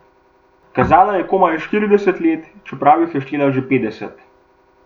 Kazala je komaj štirideset let, čeprav jih je štela že petdeset.